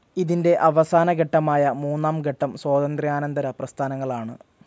ഇതിന്റെ അവസാന ഘട്ടമായ മൂന്നാം ഘട്ടം സ്വാതന്ത്ര്യാനന്തര പ്രസ്ഥാനങ്ങളാണ്.